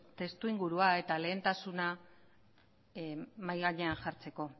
testuingurua eta lehentasuna mahai gainean jartzeko